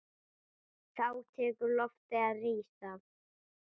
Þá tekur loftið að rísa.